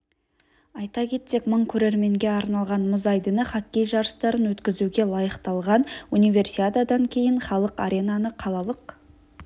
айта кетсек мың көрерменге арналған мұз айдыны хоккей жарыстарын өткізуге лайықталған универсиададан кейін халық аренаны қалалық